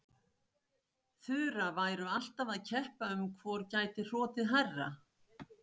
Þura væru alltaf að keppa um hvor gæti hrotið hærra.